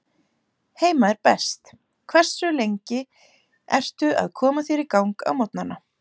Heima er best Hversu lengi ertu að koma þér í gang á morgnanna?